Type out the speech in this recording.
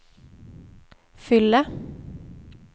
fyller